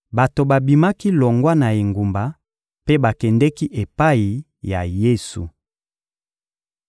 Bato babimaki longwa na engumba mpe bakendeki epai ya Yesu.